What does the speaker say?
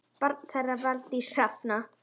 Barn þeirra Valdís Hrafna.